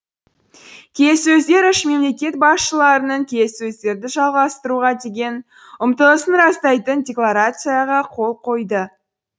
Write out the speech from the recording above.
келіссөздер үш мемлекет басшыларының келіссөздерді жалғастыруға деген ұмтылысын растайтын декларацияға қол қойды